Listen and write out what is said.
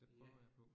Ja